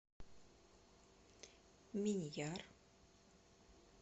миньяр